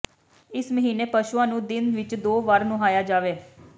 ਇਸ ਮਹੀਨੇ ਪਸ਼ੂਆਂ ਨੂੰ ਦਿਨ ਵਿਚ ਦੋ ਵਾਰ ਨੁਹਾਇਆ ਜਾਵੇ